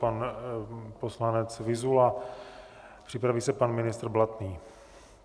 Pan poslanec Vyzula, připraví se pan ministr Blatný.